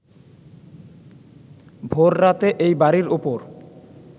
ভোররাতে এই বাড়ীর ওপর